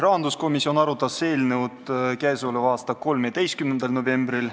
Rahanduskomisjon arutas eelnõu k.a 13. novembril.